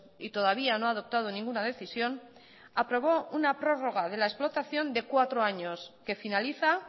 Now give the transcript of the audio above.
y todavía no ha adoptado ninguna decisión aprobó una prórroga de la explotación de cuatro años que finaliza